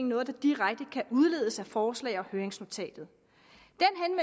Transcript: noget der direkte kan udledes af forslaget og høringsnotatet